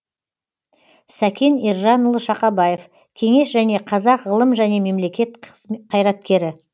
сәкен ержанұлы шақабаев кеңес және қазақ ғылым және мемлекет қайраткері